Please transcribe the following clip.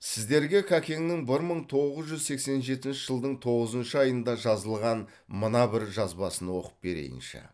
сіздерге кәкеңнің бір мың тоғыз жүз сексен жетінші жылдың тоғызыншы айында жазылған мына бір жазбасын оқып берейінші